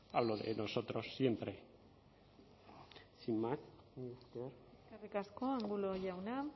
hablo de nosotros siempre sin más mila esker eskerrik asko angulo jauna